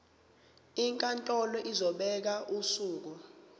inkantolo izobeka usuku